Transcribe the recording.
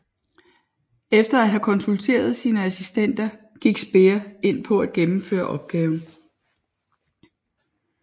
Efter at have konsulteret sine assistenter gik Speer ind på at gennemføre opgaven